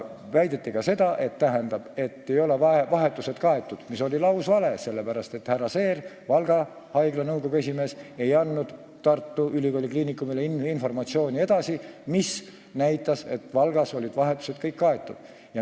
Väideti ka seda, et vahetused ei ole kaetud, mis on lausvale, sellepärast, et härra Seer, Valga haigla juhatuse liige, ei andnud Tartu Ülikooli Kliinikumile edasi informatsiooni, mis näitas, et Valgas olid vahetused kõik kaetud.